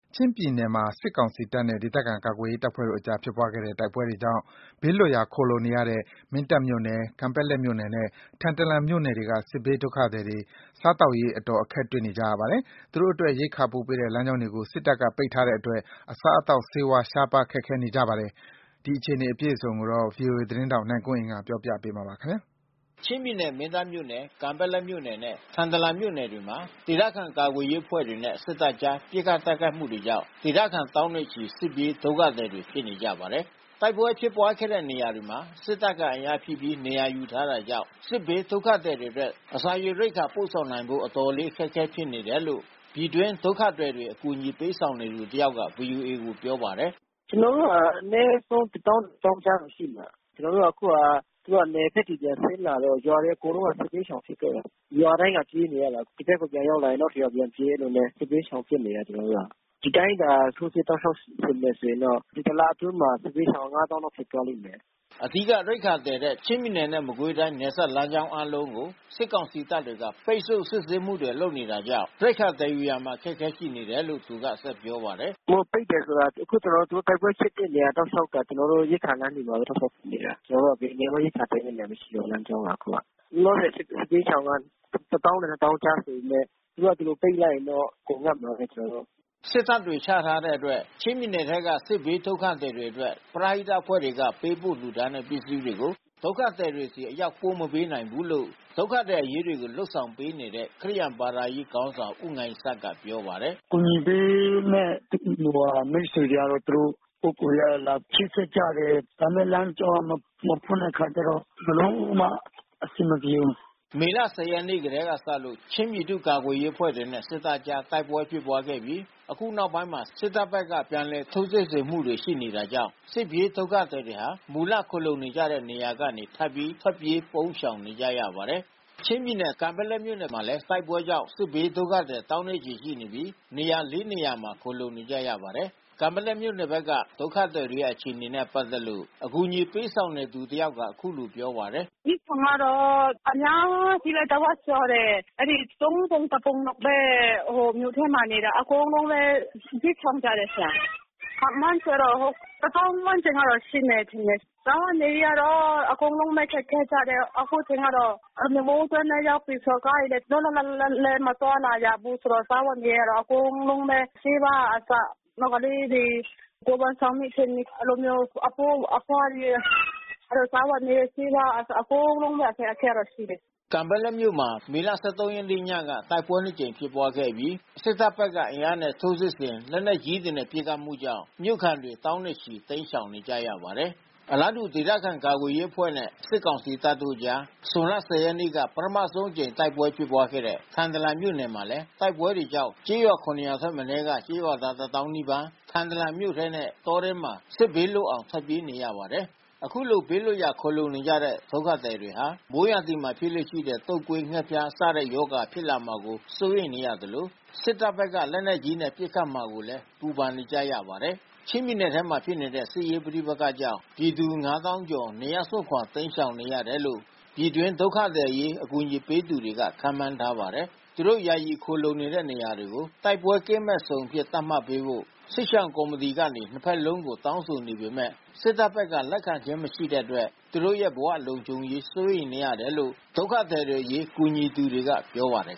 ချင်းပြည်နယ်မှာ စစ်ကောင်စီတပ်နဲ့ ဒေသခံကာကွယ်ရေးအဖွဲ့တို့ကြား ဖြစ်ပွားတဲ့ တိုက်ပွဲတွေကြောင့် ဘေးလွတ်ရာခိုလှုံနေကြရတဲ့ မင်းတပ်မြို့နယ် ကန်ပက်လက် မြို့နယ်နဲ့ ထန်တလန်မြို့နယ်တွေက စစ်ဘေးဒုက္ခသည်တွေ စားရေးသောက်ရေး အတော် အခက် တွေ့နေကြပါတယ်။ သူတို့အတွက် ရိက္ခာပို့ပေးတဲ့ လမ်းကြောင်းတွေကို စစ်တပ်က ပိတ်ထားတဲ့အတွက် အစားအသောက် ဆေးဝါး ရှားပါးခက်ခဲနေကြပါတယ်။ ဒီအခြေအနေကို ဗွီအိုအေသတင်းထောက်နိုင်ကွန်းအိန်ကနေပြောပြပေးမှာပါ။ ချင်းပြည်နယ်မင်းတပ်မြို့နယ်၊ ကန်ပက်လက်မြို့နယ်နဲ့ ထန်တလန်မြို့နယ်တွေမှာ ဒေသခံကာကွယ်ရေးအဖွဲ့တွေနဲ့ စစ်တပ်ကြား ပစ်ခတ်တိုက်ခိုက်မှုတွေကြောင့် ဒေသခံ သောင်းနဲ့ချီ စစ်ပြေးဒုက္ခသည်တွေဖြစ်နေကြပါတယ်။ တိုက်ပွဲဖြစ်ခဲ့တဲ့နေရာတွေမှာ စစ်တပ်က အင်အားဖြည့်ပြီး နေရာယူထားတာကြောင့် စစ်ဘေးဒုက္ခသည်တွေအတွက် စား၊ ရေ၊ ရိက္ခာပို့ပေးနိုင်ဖို့ အတော်လေး အခက်အခဲဖြစ်နေတယ်လို့ ပြည်တွင်းဒုက္ခသည်တွေအရေးကူညီပေးနေသူတယောက်က ဗီအိုအေကို ပြောပါတယ်။ "ကျွန်တော်တို့မှာအနည်းဆုံး တသောင်းနဲ့နှစ်သောင်းကြားမှာရှိနေတယ်။ ကျွန်တော်တို့က အခုဟာ သူတို့က(စစ်တပ်က) နယ်ဘက်ကိုပြန်ဆင်းလာတော့ ရွာတွေအကုန်လုံးကစစ်ဘေးရှောင်ဖြစ်ခဲ့တယ်။ ရွာတိုင်းကပြေးနေရတယ်။ ဒီဘက်ကိုရောက်ရင် နောက်တရွာပြန်ပြေးနေတဲ့ စစ်ဘေးရှောင်ဖြစ်နေတယ် ကျွန်တော်တို့က ။ ဒီအတိုင်းတာ ထိုးစစ်တောက်လျှောက်ဆင်မယ်ဆိုရင်တော့ ဒီတလအတွင်းမှာ စစ်ဘေးရှောင်ငါးသောင်းဖြစ်သွားလိမ့်မယ်။" အဓိက ရိက္ခာသယ်တဲ့ ချင်း-မကွေး နယ်စပ် လမ်းကြောင်းအားလုံးကို စစ်ကောင်စီ တပ်တွေက ပိတ်ဆို့စစ်ဆေးမှုလုပ်နေတာကြောင့် ရိက္ခာသယ်ယူရာမှာအခက်ခဲရှိတယ်လို့ သူကဆက်ပြောပါတယ်။ "သူတို့ပိတ်တယ်ဆိုတာ အခုကျွန်တော်တို့တိုက်ပွဲဖြစ်တဲ့နေရာတောက်လျှောက်က ကျွန်တော်တို့ရိက္ခာသယ်တဲ့ လမ်းတွေပါဘဲ ကန့်သတ်ပိတ်တာ။ ကျွန်တော်တို့ရိက္ခာသယ်လို့မရဘူး ရှိတဲ့လမ်းကြောင်းကအခုက။ လောလောဆယ်စစ်ဘေးရှောင်က တသောင်းနဲ့နှစ်သောင်းကြားဆိုပေမဲ့ သူတို့က ဒီလိုပိတ်လိုက်မယ်ဆိုရင်တော့ အကုန်ငတ်မှာဘဲ။" စစ်တပ်တွေ ချထားတဲ့အတွက် ချင်းပြည်နယ်ထဲက စစ်ဘေးဒုက္ခသည်တွေအတွက် ပရဟိတအဖွဲ့တွေက ပေးပို့လှူဒါန်းတဲ့ ပစ္စည်း တွေကို ဒုက္ခသည်တွေဆီ အရောက် ပို့မပေးနိုင်ဘူးလို့ ဒုက္ခသည်တွေအရေးလုပ်ပေးနေတဲ့ ခရိယာန်ဘာသာရေးခေါင်း ဆောင် ဦးငိုင်းဆတ်က ပြောပါတယ်။ "အကူညီပေးမဲ့မိတ်ဆွေတွေကအဖွဲ့အစည်းတွေက သူတို့ကတော့ ပုဂ္ဂိုလ်အရ လာချိတ်ဆက်ကြတယ်။ ဒါပေမဲ့လမ်းကြောင်း မဖွင့်တဲ့အခါကျတော့ ဘယ်လိုမှအဆင်မပြေဘူး။" မေလ (၁၀) ရက်နေ့ထဲကစလို့ ချင်းပြည်သူ့ကာကွယ်ရေးအဖွဲ့တွေနဲ့ စစ်တပ်ကြား တိုက်ပွဲတွေ ဖြစ်ပွားခဲ့ပြီး၊ အခုနောက်ပိုင်းမှာ စစ်တပ်ဖက်က ပြန်လည်ထိုးစစ်ဆင်မှုတွေရှိနေတာကြောင့် စစ်ပြေးဒုက္ခသည်တွေဟာ မူလခိုလှုံနေကြတဲ့ နေရာတွေကနေ ထပ်ပြီး ထွက်ပြေးပုန်းရှောင်နေကြရပါတယ်။ ချင်းပြည်နယ် ကန်ပက်လက်မြို့နယ်မှာလဲ တိုက်ပွဲကြောင့် စစ်ဘေးဒုက္ခသည် သောင်းချီရှိနေပြီး နေရာ (၄) နေရာမှာ ခိုလှုံနေကြပါတယ်။ ကန်ပက်လက်မြို့နယ်ဘက်က ဒုက္ခသည်တွေ အခြေအနေနဲ့ပါတ်သက်လို့ အကူညီပေးနေ သူတယောက်ကအခုလိုပြောပါတယ်။ "စစ်ရှောင်ကတော့အများကြီးဘဲ တဝက်ကျော်တယ်။ သုံးပုံတပုံလောက်ဘဲမြို့ထဲမှာနေတာ။ အကုန်လုံးလဲ စစ်ရှောင်ကြတယ်။ ခန့်မှန်းခြေကတော့ တသောင်းဝန်းကျင်လောက် ရှိမယ်ထင်တယ်။ စားဝတ်နေရေးကအကုန်လုံးဘဲခက်ခဲကြတယ်။ အခုချိန်ကတော့ မိုးတွင်းလဲရောက်ပြီဆိုတော့ ကားတွေကလဲလွတ်လွတ်လပ်လပ်မသွားလာရဘူးဆိုတော့ စားဝတ်နေရေးကတော့ အကုန်လုံးဘဲ ဆေးဝါးကအစ နောက်ကလေးတွေ ကိုယ်ဝန်ဆောင်မိခင်တွေအဲဒီလိုမျိုး အဘိုးအဘွားတွေ အဲဒီလိုစားဝတ်နေရေး ဆေးဝါးက အစအကုန်လုံးပေါ့ အခက်ခဲကတော့ရှိတယ်။" ကန်ပက်လက်မြို့မှာ မေ (၁၃) ရက်နေ့ညက တိုက်ပွဲနှစ်ကြိမ် ဖြစ်ပွားခဲ့အပြီး စစ်တပ်ဘက်ကအင်အားနဲ့ ထိုးစစ်ဆင် လက်နက် ကြီးနဲ့ ပစ်ခတ်မှုကြောင့် မြို့ခံတွေ သောင်းနဲ့ချီ တိမ်းရှောင်နေကြရပါတယ်။ အလားတူ ဒေသခံကာကွယ်ရေးအဖွဲ့နဲ့စစ်ကောင်စီတပ်တို့အကြား ဇွန်လ ၁၀ ရက်နေက ပထမဆုံးအကြိမ်တိုက်ပွဲဖြစ်ပွါးခဲ့တဲ့ ထန်တလန်မြို့နယ်မှာလဲ တိုက်ပွဲတွေကြောင့် ကျေးရွာ ၇ ရွာထက်မနည်းက ကျေးရွာသားတသောင်းနီးပါး ထန်တလန်မြို့ထဲနဲ့ တောထဲမှာ စစ်ဘေးလွတ်အောင် ထွက်ပြေးနေရပါတယ်။ ခုလိုဘေးလွတ်ရာ ခိုလှုံနေကြရတဲ့ ဒုက္ခသည်တွေဟာ မိုးရာသီမှာဖြစ်လေ့ရှိတဲ့ တုပ်ကွေး၊ ငှက်ဖျား စတဲ့ ရောဂါတွေဖြစ်လာမှာစိုးရိမ်နေရသလို စစ္တပ္ဘက္က လက်နက်ကြီးနဲ့ပစ်ခတ်မှာကိုလဲ ပူပန်နေကြပါတယ်။ ချင်းပြည်နယ်ထဲမှာဖြစ်နေတဲ့ စစ်ရေးပဋိပက္ခကြောင့် ပြည်သူ (၅၀၀၀၀)ကျော် နေရပ်စွန့်ခွာ တိမ်းရှောင်နေ ရတယ်လို့ ပြည်တွင်း ဒုက္ခသည်အရေး ကူညီပေးနေကြသူတွေက ခန့်မှန်းထားပါတယ်။ သူတို့ ယာယီခိုလှုံနေကြတဲ့ နေရာတွေကို တိုက်ပွဲကင်းမဲ့ဇုန်အဖြစ်သတ်မှတ်ပေးဖို့ စစ်ရှောင်ကော်မီတီကနေ ၂ ဘက်လုံးကို တောင်းဆိုခဲ့ပေမဲ့ စစ်တပ်ဘက်က လက်ခံခြင်း မရှိတဲ့အတွက် သူတို့ရဲ့ဘဝလုံခြုံရေးဟာစိုးရိမ်နေရတယ်လို့ ဒုက္ခသည်တွေအရေး ကူညီသူတွေကပြောပါတယ်